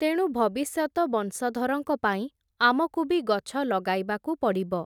ତେଣୁ ଭବିଷ୍ୟତ ବଂଶଧରଙ୍କ ପାଇଁ, ଆମକୁ ବି ଗଛ ଲଗାଇବାକୁ ପଡ଼ିବ ।